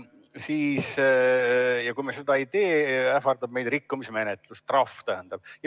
Ja kui me seda ei tee, ähvardab meid rikkumismenetlus, trahv.